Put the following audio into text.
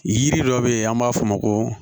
Yiri dɔ bɛ yen an b'a f'o ma ko